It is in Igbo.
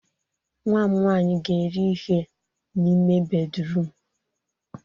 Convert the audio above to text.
Nwa m nwanyị ga-eri ihe n'ime bédrụum.